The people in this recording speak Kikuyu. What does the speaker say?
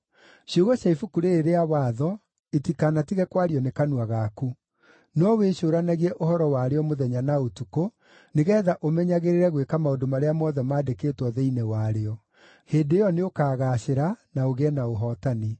Ciugo cia Ibuku rĩĩrĩ rĩa Watho itikanatige kwario nĩ kanua gaku; no wĩcũũranagie ũhoro warĩo mũthenya na ũtukũ, nĩgeetha ũmenyagĩrĩre gwĩka maũndũ marĩa mothe maandĩkĩtwo thĩinĩ warĩo. Hĩndĩ ĩyo nĩ ũkaagaacĩra, na ũgĩe na ũhootani.